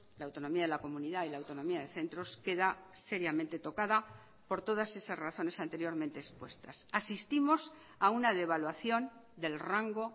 la autonomía de la comunidad y la autonomía de centros queda seriamente tocada por todas esas razones anteriormente expuestas asistimos a una devaluación del rango